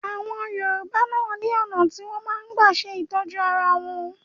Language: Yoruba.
Àwọn Yorùbá náà ni ọ̀nà tí wọn máa ń gbà ṣe ìtọ́jú ara wọn